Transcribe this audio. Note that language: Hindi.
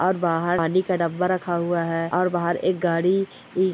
और बाहर पानी का डब्बा रखा हुआ और बाहर एक गाड़ी इ --